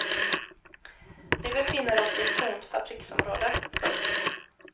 Vi befinner oss i ett tomt fabriksområde. punkt